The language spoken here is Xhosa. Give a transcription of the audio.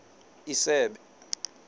isebe